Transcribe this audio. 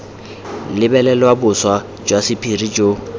lebelelwa boswa jwa sephiri jo